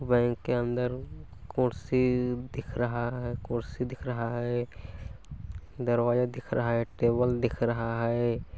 Bank के अंदर कुर्सी दिख रहा है कुर्सी दिख रहा है दरवाजा दिख रहा है टेबल दिख रहा हैं ।